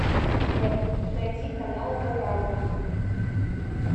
сбер найди канал дорама